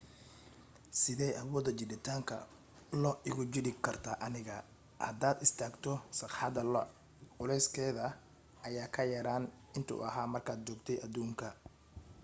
sidey awooda jiiditaanka io igu jiidi kartaa aniga hadaad istaagto sagxadda lo culeyskaada ayaa ka yeraan intuu ahaa markaad joogtay aduunka